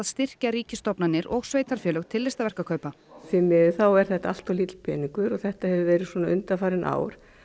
styrkja ríkisstofnanir og sveitarfélög til listaverkaupa því miður er þetta allt of lítill peningur þetta hefur verið svona undanfarin ár